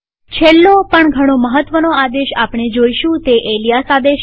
છેલ્લો પણ ઘણો મહત્વનો આદેશ આપણે જોઈશું તે છે એલીયાસ આદેશ